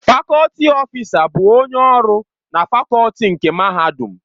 Fakọlti ọfịsa bụ onye ọrụ na fakọlti nke Mahadum.